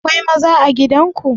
Akwai maza a gidan ku?